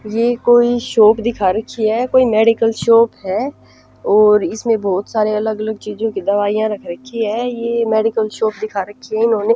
यह कोई शॉप दिखा रखी है कोई मेडिकल शॉप है और इसमें बहुत सारे अलग अलग चीजों की दवाइयाँ रखी है यह मेडिकल शॉप दिखा रखी है इन्होंने --